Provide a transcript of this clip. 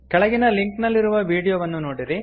ಕೆಳಗಿನ ಲಿಂಕ್ ನಲ್ಲಿರುವ ವೀಡಿಯೋವನ್ನು ನೋಡಿರಿ